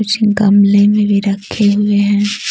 कुछ गमले में भी रखे हुए हैं।